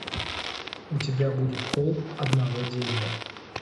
у тебя будет холм одного дерева